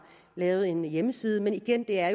lavet en hjemmeside men igen er